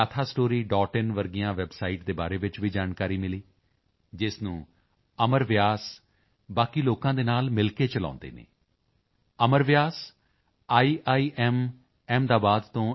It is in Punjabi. ਆਈਐਨ ਜਿਹੀਆਂ ਵੈਬਸਾਈਟ ਦੇ ਬਾਰੇ ਵਿੱਚ ਜਾਣਕਾਰੀ ਮਿਲੀ ਜਿਸ ਨੂੰ ਅਮਰ ਵਿਆਸ ਬਾਕੀ ਲੋਕਾਂ ਦੇ ਨਾਲ ਮਿਲ ਕੇ ਚਲਾਉਂਦੇ ਹਨ ਅਮਰ ਵਿਆਸ ਆਈਆਈਐਮ ਅਹਿਮਦਾਬਾਦ ਤੋਂ ਐੱਮ